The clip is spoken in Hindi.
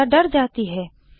अनीता डर जाती है